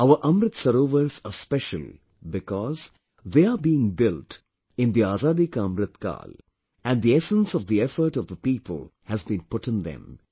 Our Amrit Sarovarsare special because, they are being built in the Azadi Ka Amrit Kal and the essence of the effort of the people has been put in them